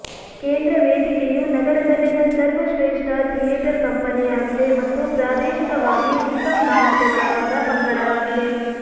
ಕೇಂದ್ರ ವೇದಿಕೆಯು ನಗರದಲ್ಲಿನ ಸರ್ವಶ್ರೇಷ್ಟ ಥಿಯೇಟರ್ ಕಂಪನಿಯಾಗಿದೆ ಮತ್ತು ಪ್ರಾದೇಶಿಕವಾಗಿ ಉತ್ತಮ ಮಾನ್ಯತೆಗೊಳಗಾದ ಪಂಗಡವಾಗಿದೆ